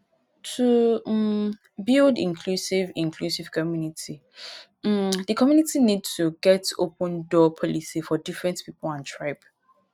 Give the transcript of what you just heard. to um build inclusive inclusive community um di community need to get open door policy for different pipo and tribe